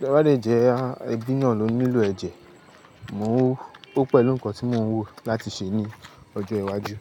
Tẹ́ bá dè jẹ́ a, ẹbí náà ló nílò ẹ̀jẹ̀. Mo o, ó pẹ̀lú nǹkan tí mo ń wò láti ṣe ní ọjọ́ iwájú.